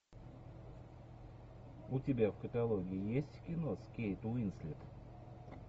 у тебя в каталоге есть кино с кейт уинслет